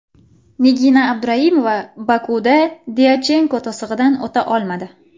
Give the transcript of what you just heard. Nigina Abduraimova Bokuda Dyachenko to‘sig‘idan o‘ta olmadi.